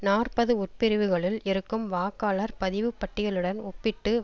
நாற்பது உட்பிரிவுகளுள் இருக்கும் வாக்காளர் பதிவுப்பட்டியலுடன் ஒப்பிட்டு